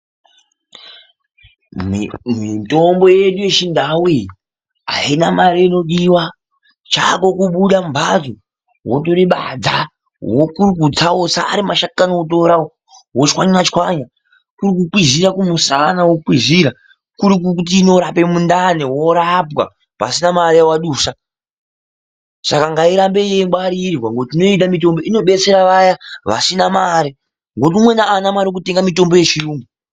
Mitombo yedu yechindau iyi ayina mare inodiwa, chako kubuda mumbatso wotora badza, kuri kutsa wotsa, ari mashakani wotora wotswanya tswanya, kuri kwizira kumushana, wokwizira, kuri kuti inorape mundani worapa pasina mare yawadusa. Saka ngairambe weingwarirwa nekuti toida mutombo inobetsera vaya vasina mare nekuti umweni aana mare yeutenga mutombo yechiyungu